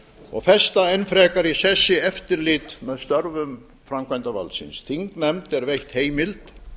og festa enn frekar í sessi eftirlit með störfum framkvæmdarvaldsins þingnefnd er veitt heimild